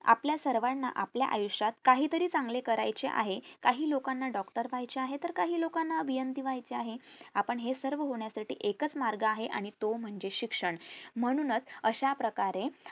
आपल्या सर्वांना आपल्या आयुष्यात काहीतरी चांगले करायचे आहे काही लोकांना doctor व्हायचे आहे तर काही लोकांना अभियंता व्हायचे आहे आपण हे सर्व होण्यासाठी एकच मार्ग आहे आणि तो म्हणजे शिक्षण म्हणून च अश्याप्रकारे